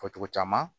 Fɔ cogo caman